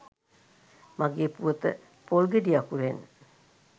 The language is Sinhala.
මගේ පුවත පොල්ගෙඩි අකුරෙන්